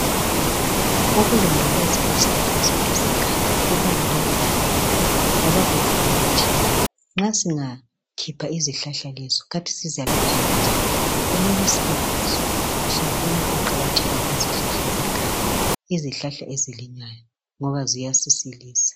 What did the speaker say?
Ukulondoloza izihlahla zethu zeganga kubalulekile kakhulu ngoba kuvikela thina. Nxa singakhipha izihlahla lezi kanti sizalapheka njani. Kumele sibekwazi sibone ukuqakatheka kwezihlahla ngoba ziyasisilisa.